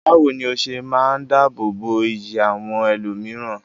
Bawo ni o se maa n dáàbò bo iyì àwọn ẹlòmíràn?